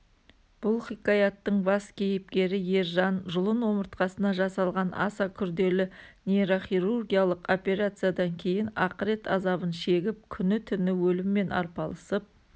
бұл хикаяттың бас кейіпкері ержан жұлын-омыртқасына жасалған аса күрделі нейрохирургиялық операциядан кейін ақырет азабын шегіп күні-түні өліммен арпалысып